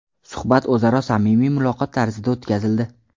Suhbat o‘zaro samimiy muloqot tarzida o‘tkazildi.